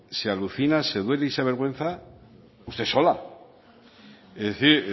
se alucina se duele y se avergüenza sola es decir